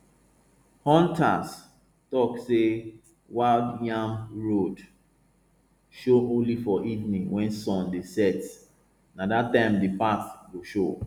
hunters talk say wild yam road dey show only for evening when sun dey set na that time the path go show